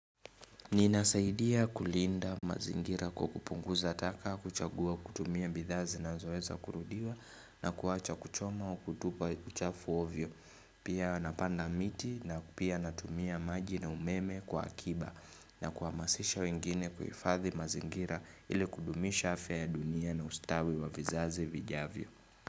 Ninasaidia kulinda mazingira kwa kukupunguza taka kuchagua kutumia bidhaa zinazoweza kurudiwa na kuwacha kuchoma au kutupa uchafu ovyo. Pia napanda miti na pia natumia maji na umeme kwa akiba na kuhamasisha wengine kuhifadhi mazingira ili kudumisha afya ya dunia na ustawi wa vizazi vijavyo.